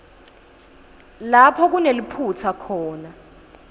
lapho kuneliphutsa khona